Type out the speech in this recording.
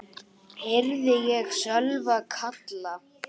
heyrði ég Sölva kalla.